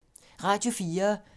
Radio 4